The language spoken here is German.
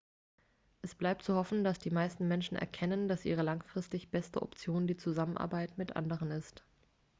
es bleibt zu hoffen dass die meisten menschen erkennen dass ihre langfristig beste option die zusammenarbeit mit anderen ist